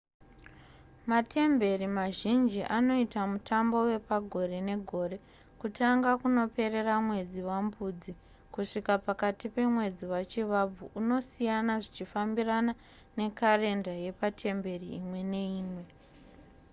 matemberi mazhinji anoita mutambo wepagore negore kutanga kunoperera mwedzi wambudzi kusvika pakati pemwedzi wachivabvu unosiyana zvichifambirana nekarenda yepatemberi imwe neimwe